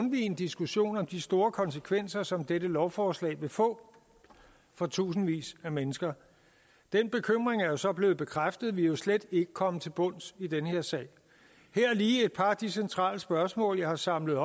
en diskussion om de store konsekvenser som dette lovforslag vil få for tusindvis af mennesker den bekymring er så blevet bekræftet vi er jo slet ikke kommet til bunds i den her sag her er lige et par af de centrale spørgsmål jeg har samlet